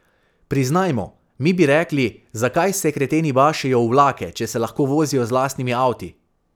Priznajmo, mi bi rekli, zakaj se kreteni bašejo v vlake, če se lahko vozijo z lastnimi avti?